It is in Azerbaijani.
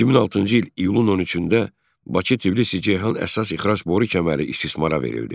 2006-cı il iyunun 13-də Bakı-Tbilisi-Ceyhan əsas ixrac boru kəməri istismara verildi.